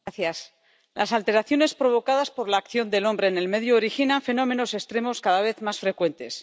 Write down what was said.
Señora presidenta, las alteraciones provocadas por la acción del hombre en el medio originan fenómenos extremos cada vez más frecuentes.